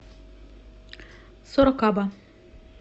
сорокаба